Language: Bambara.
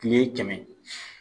Kile kɛmɛ